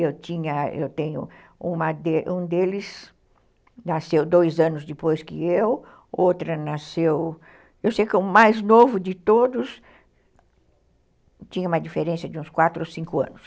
Eu tinha, eu tenho... Um deles nasceu dois anos depois que eu, outro nasceu... Eu sei que o mais novo de todos tinha uma diferença de uns quatro ou cinco anos.